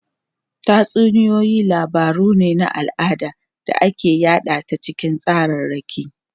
Tatsuniyoyi labaru ne na al'ada da aka yada ta cikin tsararraki.